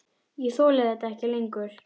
Ég þoli þetta ekki lengur.